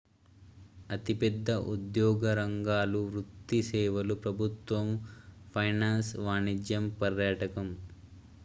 అతిపెద్ద ఉద్యోగ రంగాలు వృత్తి సేవలు ప్రభుత్వం ఫైనాన్స్ వాణిజ్యం పర్యాటకం